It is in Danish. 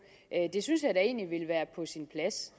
det synes jeg egentlig ville være på sin plads